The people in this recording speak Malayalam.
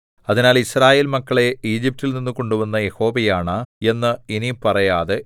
അതിനാൽ യിസ്രായേൽ മക്കളെ ഈജിപ്റ്റിൽനിന്നു കൊണ്ടുവന്ന യഹോവയാണ എന്ന് ഇനി പറയാതെ